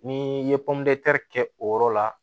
Ni i ye kɛ o yɔrɔ la